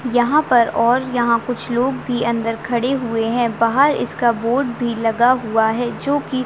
यहाँ पर और यहाँ कुछ लोग भी अंदर खड़े हुए है बाहर इसका बोर्ड भी लगा हुआ है जो की --